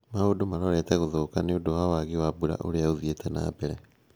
Maundũ marorete gũthũka nĩũndũ wa wagi wa mbura ũrĩa uthiĩte nambere